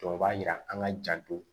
Jɔ o b'a yira an ka janto